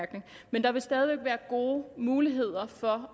men der vil stadig væk være gode muligheder for